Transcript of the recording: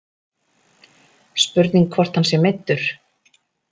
Spurning hvort að hann sé meiddur.